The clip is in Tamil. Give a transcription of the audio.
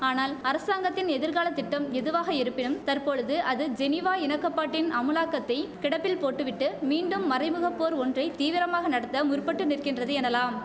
ஆனால் அரசாங்கத்தின் எதிர்காலத்திட்டம் எதுவாக இருப்பினும் தற்பொழுது அது ஜெனீவா இணக்கப்பாட்டின் அமுலாக்கத்தை கிடப்பில் போட்டுவிட்டு மீண்டும் மறைமுகப்போர் ஒன்றை தீவிரமாக நடத்த முற்பட்டு நிற்கின்றது எனலாம்